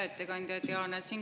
Hea ettekandja!